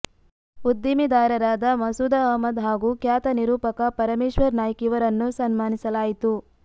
ಉದ್ದೀಮೇದಾರರಾದ ಮಸೂದ ಅಹ್ಮದ ಹಾಗೂ ಖ್ಯಾತ ನಿರೂಪಕ ಪರಮೇಶ್ವರ ನಾಯ್ಕ ಇವರನ್ನು ಸನ್ಮಾನಿಸಲಾಯಿತು